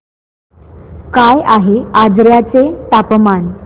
काय आहे आजर्याचे तापमान